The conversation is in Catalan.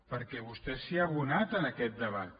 perquè vostè s’hi ha abonat en aquest debat